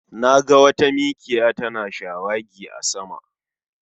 Na ga wata mikiya tana shawagi a sama